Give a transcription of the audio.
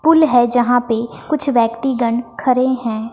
पुल है यहां पे कुछ व्यक्तिगन खड़े हैं।